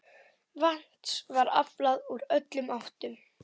Vatns var aflað úr öllum áttum.